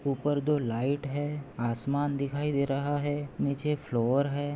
उपर दो लाइट है। आसमान दिखाई दे रहा है। नीचे फ्लोर है।